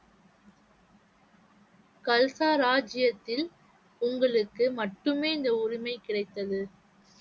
கல்சா ராஜ்ஜியத்தில் உங்களுக்கு மட்டுமே இந்த உரிமை கிடைத்தது